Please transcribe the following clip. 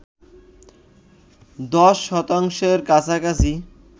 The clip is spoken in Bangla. ১০ শতাংশের কাছাকাছি